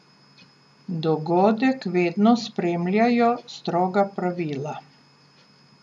Dogodek vedno spremljajo stroga pravila.